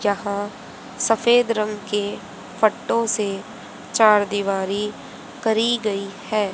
जहां सफेद रंग के पट्टो से चार दिवारी करी गई है।